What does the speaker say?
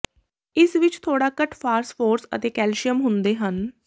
ਇਸ ਵਿੱਚ ਥੋੜਾ ਘੱਟ ਫਾਸਫੋਰਸ ਅਤੇ ਕੈਲਸ਼ੀਅਮ ਹੁੰਦੇ ਹਨ